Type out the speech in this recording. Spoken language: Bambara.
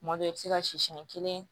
Tuma dɔw i bɛ se ka siyɛn kelen